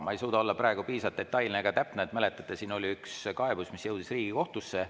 Ma ei suuda olla praegu piisavalt detailne ja täpne, aga mäletate, siin oli üks kaebus, mis jõudis Riigikohtusse.